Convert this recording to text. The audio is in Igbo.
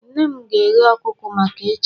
Nne m ga-eghe ọkụkọ maka echi